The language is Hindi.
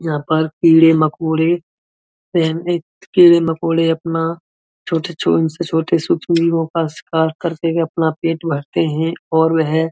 यहाँ पर कीड़े मकोड़े कीड़े मकोड़े अपना छोटे छोटे का शिकार करके अपना पेट भरते हैं और वह --